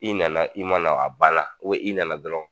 I nana i ma na a banna i nana dɔrɔn